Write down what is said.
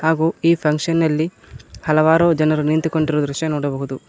ಹಾಗೂ ಈ ಫಂಕ್ಷನ್ ಅಲ್ಲಿ ಹಲವಾರು ಜನರು ನಿಂತುಕೊಂಡಿರು ದೃಶ್ಯ ನೋಡಬಹುದು.